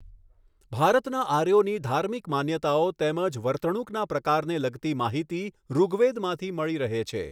ભારતના આર્યોની ધાર્મિક માન્યતાઓ તેમ જ વર્તણુકના પ્રકારને લગતી માહિતી ૠગવેદમાંથી મળી રહે છે.